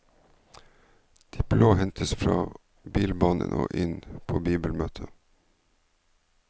De blå hentes fra bilbanen og inn på bibelmøte.